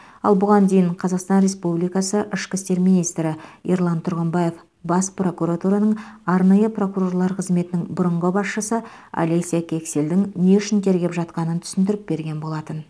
ал бұған дейін қазақстан республикасы ішкі істер министрі ерлан тұрғымбаев бас прокуратураның арнайы прокурорлар қызметінің бұрынғы басшысы олеся кексельдің не үшін тергеп жатқанын түсіндіріп берген болатын